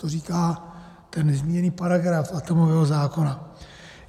To říká ten nezměněný paragraf atomového zákona.